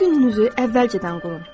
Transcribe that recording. Öz gününüzü əvvəlcədən qurun.